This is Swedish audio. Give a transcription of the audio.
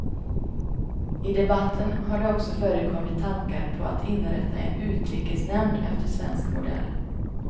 I debatten har det också förekommit tankar på att inrätta en utrikesnämnd efter svensk modell.